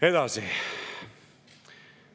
Edasi.